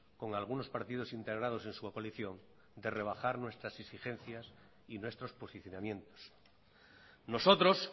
con algunos partidos integrados en su coalición de rebajar nuestras exigencias y nuestros posicionamientos nosotros